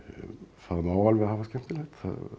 það má alveg hafa skemmtilegt